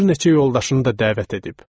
Bir neçə yoldaşını da dəvət edib.